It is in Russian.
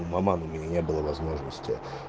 у маман у меня не было возможности